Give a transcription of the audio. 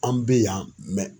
An bɛ yan